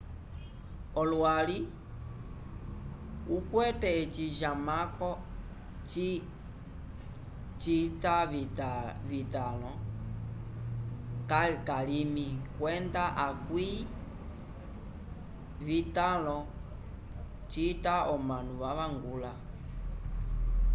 olwali ukwete eci jamako cita vitanlo calimi kwenda akwi vitanlo cita omanu vavangula